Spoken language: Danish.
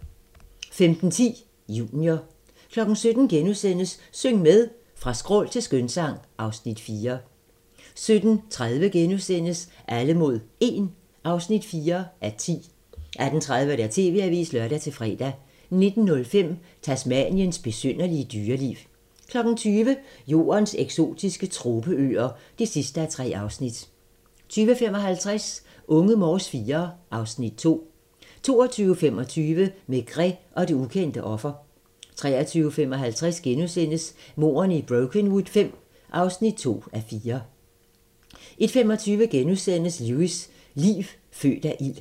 15:10: Junior 17:00: Syng med! Fra skrål til skønsang (Afs. 4)* 17:30: Alle mod 1 (4:10)* 18:30: TV-avisen (lør-fre) 19:05: Tasmaniens besynderlige dyreliv 20:00: Jordens eksotiske tropeøer (3:3) 20:55: Unge Morse IV (Afs. 2) 22:25: Maigret og det ukendte offer 23:55: Mordene i Brokenwood V (2:4)* 01:25: Lewis: Liv født af ild *